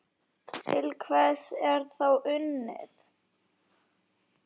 Til hvers er þá unnið?